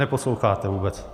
Neposloucháte vůbec.